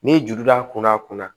N'i juru b'a kunna a kunna